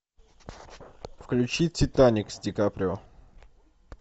включи титаник с ди каприо